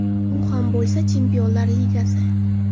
U ham bo‘lsa, Chempionlar Ligasi.